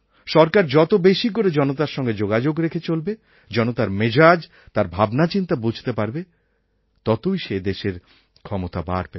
সরকার যত বেশি করে জনতার সঙ্গে যোগাযোগ রেখে চলবে জনতার মেজাজ তার ভাবনাচিন্তা বুঝতে পারবে ততই সে দেশের ক্ষমতা বাড়বে